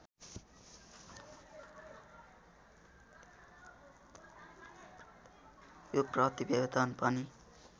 यो प्रतिवेदन पनि